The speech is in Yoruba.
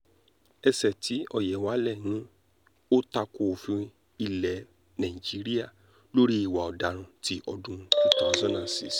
ẹsẹ̀ tí ọ̀yẹ̀wálẹ̀ ní ó ta ko òfin ilẹ̀ nàíjíríà lórí ìwà ọ̀daràn ti ọdún 2006